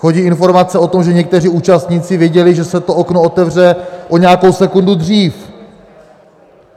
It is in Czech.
Chodí informace o tom, že někteří účastníci věděli, že se to okno otevře o nějakou sekundu dřív.